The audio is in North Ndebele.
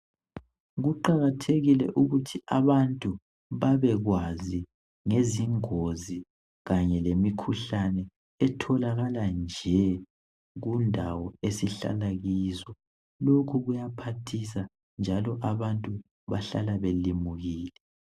Kuqakathekile ukuthi abantu babekwazi ngezingozi khanye lemikhuhlane etholakala nje kundawo esihlala kizo, lokhu kuphathisa njalo abantu bahlala belimukile.